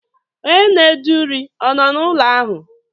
Onye na-ede uri ọ nọ n'ụlọ ahụ?